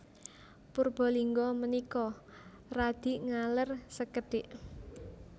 Purbalingga menika radi ngaler sekedhik